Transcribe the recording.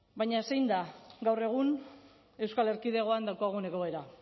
baina zein da gaur egun euskal erkidegoan daukagun egoera